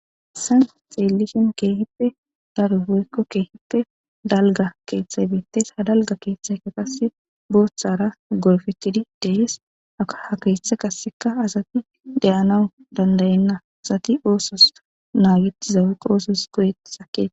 issan xeellishen keehippe dargoyekkokeehippe dalga keeththay beettes ha dalga keeththayka qasse booththara golfeththidi dehees aka ha keeththe qasseka asati deyanawu dandayenna asati oosos naagettizawe qoosos koyet sakeee